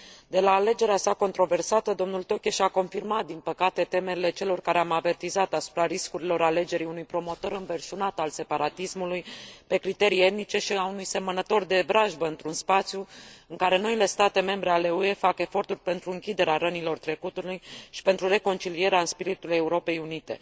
De la alegerea sa controversată, domnul Tökes a confirmat, din păcate, temerile celor care au avertizat asupra riscurilor alegerii unui promotor înverșunat al separatismului pe criterii etnice și a unui semănător de vrajbă într un spațiu în care noile state membre ale UE fac eforturi pentru închiderea rănilor trecutului și pentru reconcilierea în spiritul Europei unite.